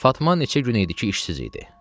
Fatma neçə gün idi ki, işsiz idi.